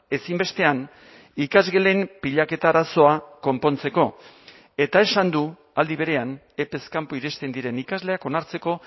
ezinbestean ikasgelen pilaketa arazoa konpontzeko eta esan du aldi berean epez kanpo iristen diren ikasleak onartzeko